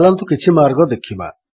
ଚାଲନ୍ତୁ କିଛି ମାର୍ଗ ଦେଖିବା